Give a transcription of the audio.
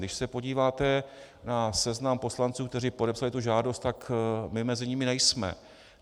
Když se podíváte na seznam poslanců, kteří podepsali tu žádost, tak my mezi nimi nejsme.